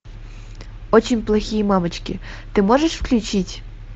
очень плохие мамочки ты можешь включить